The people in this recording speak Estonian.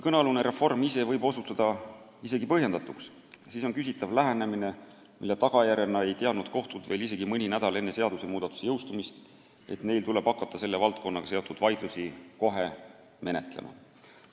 Kõnealune reform ise võib isegi põhjendatuks osutuda, aga küsitav on lähenemine, mille tagajärjena ei teadnud kohtud veel isegi mõni nädal enne seadusmuudatuse jõustumist, et neil tuleb hakata selle valdkonnaga seotud vaidlusi kohe menetlema.